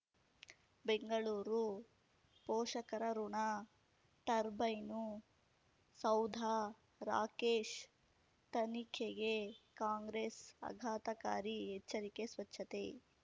ಬೆಂಗಳೂರು ಪೋಷಕರಋಣ ಟರ್ಬೈನು ಸೌಧ ರಾಕೇಶ್ ತನಿಖೆಗೆ ಕಾಂಗ್ರೆಸ್ ಆಘಾತಕಾರಿ ಎಚ್ಚರಿಕೆ ಸ್ವಚ್ಛತೆ